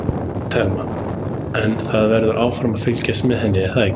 Telma: En það verður áfram fylgst með henni er það ekki?